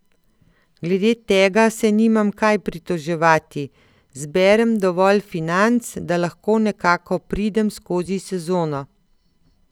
Glede tega se nimam kaj pritoževati, zberem dovolj financ, da lahko nekako pridem skozi sezono.